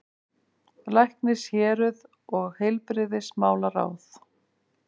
LÆKNISHÉRUÐ OG HEILBRIGÐISMÁLARÁÐ